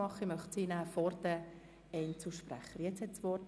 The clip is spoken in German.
Ich möchte Ihnen das Wort vor den Einzelsprechern erteilen.